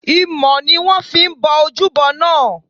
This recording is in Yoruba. Imọ̀ ni wón fi bo ojúbo náà.